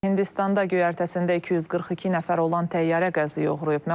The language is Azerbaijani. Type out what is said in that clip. Hindistanda göyərtəsində 242 nəfər olan təyyarə qəzaya uğrayıb.